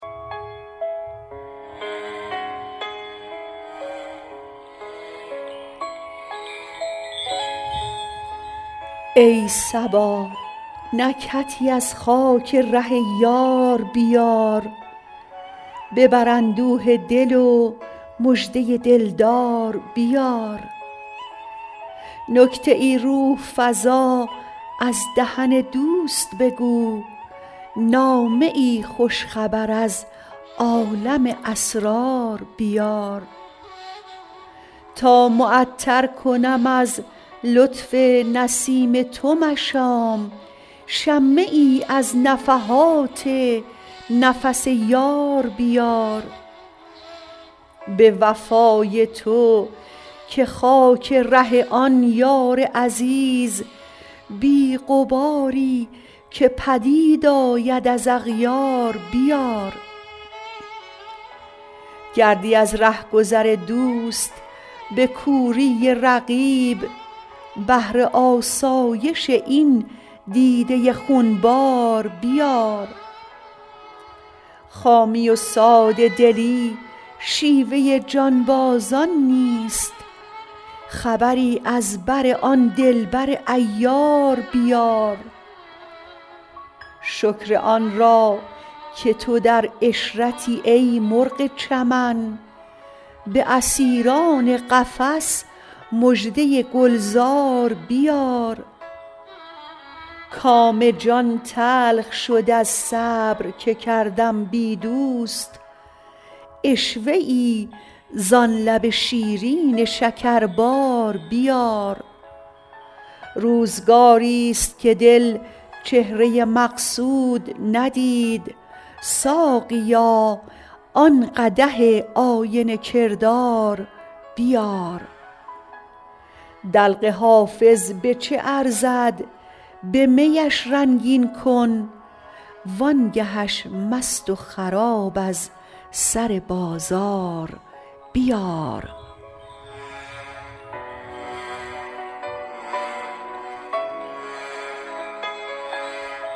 ای صبا نکهتی از خاک ره یار بیار ببر اندوه دل و مژده دل دار بیار نکته ای روح فزا از دهن دوست بگو نامه ای خوش خبر از عالم اسرار بیار تا معطر کنم از لطف نسیم تو مشام شمه ای از نفحات نفس یار بیار به وفای تو که خاک ره آن یار عزیز بی غباری که پدید آید از اغیار بیار گردی از ره گذر دوست به کوری رقیب بهر آسایش این دیده خون بار بیار خامی و ساده دلی شیوه جانبازان نیست خبری از بر آن دل بر عیار بیار شکر آن را که تو در عشرتی ای مرغ چمن به اسیران قفس مژده گل زار بیار کام جان تلخ شد از صبر که کردم بی دوست عشوه ای زان لب شیرین شکربار بیار روزگاریست که دل چهره مقصود ندید ساقیا آن قدح آینه کردار بیار دلق حافظ به چه ارزد به می اش رنگین کن وان گه اش مست و خراب از سر بازار بیار